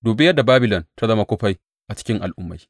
Dubi yadda Babilon ta zama kufai a cikin al’ummai!